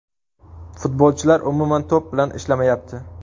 Futbolchilar umuman to‘p bilan ishlamayapti.